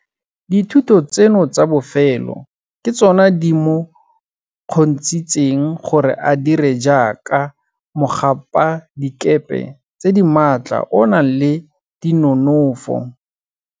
Dithuto tseno tsa bofelo ke tsone di mo kgontshitseng gore a dire jaaka mogapadikepe tse di maatla o o nang le dinonofo.